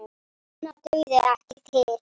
Minna dugði ekki til.